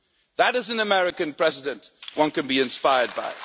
That is an American President one can be inspired